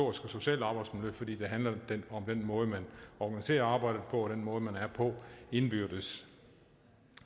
og socialt arbejdsmiljø fordi det handler om den måde man organiserer arbejdet på og den måde man er på indbyrdes